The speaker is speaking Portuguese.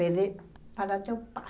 Pede para teu pai.